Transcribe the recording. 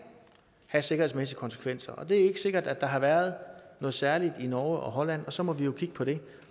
have sikkerhedsmæssige konsekvenser og det er ikke sikkert at der har været noget særligt i norge og holland og så må vi jo kigge på det